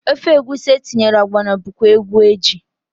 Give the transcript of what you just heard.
Ofe egwusi etinyere ọgbọnọ bụkwa egwu eji.